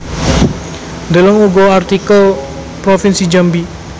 Deleng uga artikel Provinsi Jambi